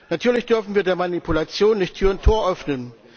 Natürlich dürfen wir der Manipulation nicht Tür und Tor öffnen.